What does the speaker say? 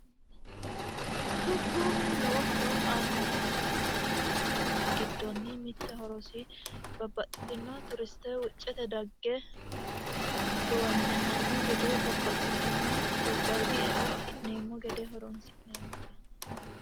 dubbu lowo horo aannoha ikkanna tenne horo giddonni mitte horosi babbaxino turiste wuccetenni dagge gowanya'anno gede babbaxitino gobbayidi eo afi'neemmo gede horonsi'neemmote.